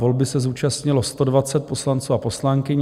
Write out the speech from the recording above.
Volby se zúčastnilo 120 poslanců a poslankyň.